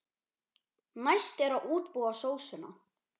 Næst er að útbúa sósuna.